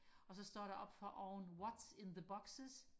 og så står der oppe for oven what is in the boxes